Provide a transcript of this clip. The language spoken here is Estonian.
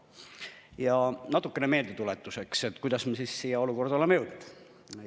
Ja natukene meeldetuletuseks, kuidas me siia olukorda oleme jõudnud.